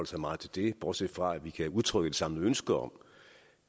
så meget til det bortset fra at vi kan udtrykke et samlet ønske om